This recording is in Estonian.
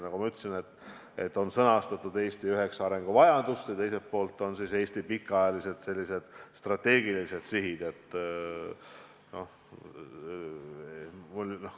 Nagu ma ütlesin, on sõnastatud üheksa Eesti arenguvajadust ja teiselt poolt Eesti pikaajalised strateegilised sihid.